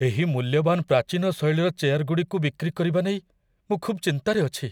ଏହି ମୂଲ୍ୟବାନ ପ୍ରାଚୀନ ଶୈଳୀର ଚେୟାରଗୁଡ଼ିକୁ ବିକ୍ରି କରିବା ନେଇ ମୁଁ ଖୁବ୍ ଚିନ୍ତାରେ ଅଛି।